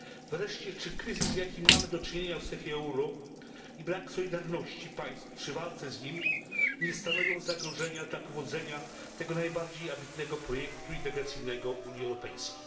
Wreszcie, czy kryzys, z jakim mamy do czynienia w strefie euro i brak solidarności państw w walce z nim nie stanowią zagrożenia dla powodzenia tego najbardziej ambitnego projektu integracyjnego Unii Europejskiej?